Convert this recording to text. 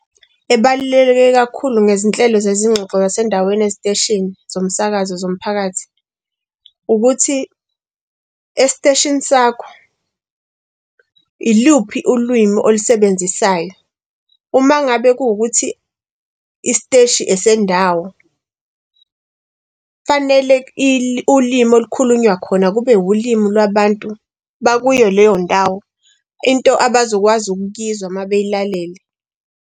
Ebaluleke kakhulu ngezinhlelo zezingxoxo zasendaweni eziteshini zomsakazo zomphakathi. Ukuthi esiteshini sakho iluphi ulwimi olisebenzisayo? Uma ngabe kuwukuthi isiteshi esendawo fanele i ulimi olukhulunywa khona, kube ulimu lwabantu bakuyo leyo ndawo. Into abazokwazi ukuyizwa babeyilalele.